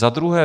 Za druhé.